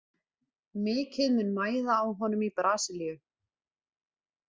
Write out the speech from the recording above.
Mikið mun mæða á honum í Brasilíu.